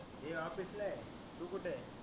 मी office ल आहे तू कुठे आहे